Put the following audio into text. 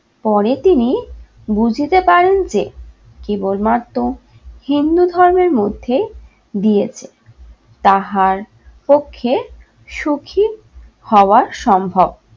পরে তিনি বুঝতে পারেন যে কেবলমাত্র হিন্দু ধর্মের মধ্যে দিয়েছে তাহার পক্ষে সুখী হওয়া সম্ভব।